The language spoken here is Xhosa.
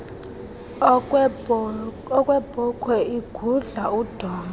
okwebhokhwe igudla udonga